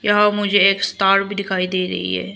यहां मुझे एक स्टार भी दिखाई दे रही है।